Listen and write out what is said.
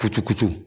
Kucu kutu